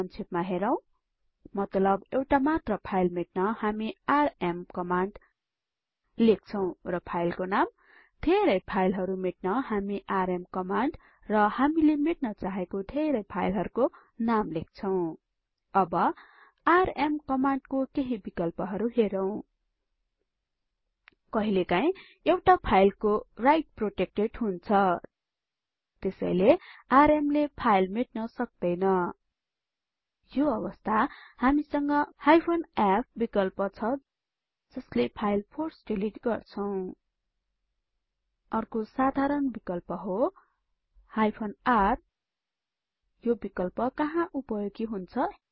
संक्षेपमा हेरौं मतलब एउटा मात्र फाइल मेट्न हामी आरएम कमाण्ड लेख्छौं र फाइलको नाम धेरै फाइलहरु मेट्नहामी आरएम कमाण्ड र हामीले मेट्न चाहेको धेरै फाइलहरुको नाम लेख्छौं अब आरएम कमान्डको केहि विकल्पहरु हेरौं कहिलेकाहीँ एउटा फाइलको राइट प्रोटेक्टेड हुन्छ त्यसैले rmले फाइल मेट्न सक्दैनयो अवस्थामा हामीसंग -f विकल्प छ जसले फाइल फोर्स डिलिट गर्छौं अर्को साधारण विकल्प हो -r यो विकल्प कहाँ उपयोगी हुन्छ